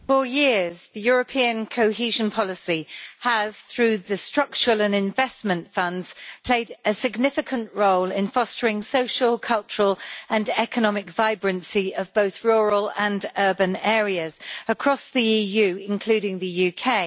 Mr President, for years European cohesion policy has, through the Structural and Investment Funds, played a significant role in fostering the social, cultural and economic vibrancy of both rural and urban areas across the EU, including the UK.